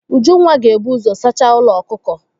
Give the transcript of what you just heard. Ujunwa ga-ebu ụzọ saacha ụlọ ọkụkọ.